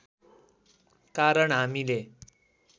कारण हामीले